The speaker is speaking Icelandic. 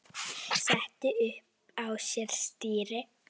setti upp á sér stýri